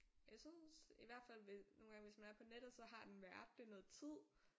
Jeg synes i hvert fald nogle gange hvis man er på nettet så den været det noget tid